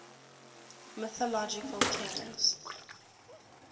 mythological kings